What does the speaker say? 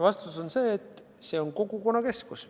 Vastus on see, et see on kogukonnakeskus.